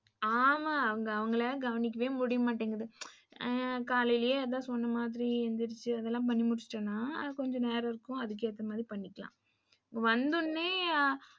ஆமா அவங்க அவங்கள கவனிக்க முடியமாட்டேங்து. காலைலே அதான் சொன்னா மாதிரி எந்திரிச்சு பண்ணி முடிசுட்டேன்னா கொஞ்ச நேரம் இருக்கும். அதுக்கு எத்தமாரி பண்ணிக்கலாம். வந்தோன்னே ஆ,